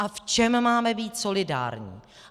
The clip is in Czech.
A v čem máme být solidární.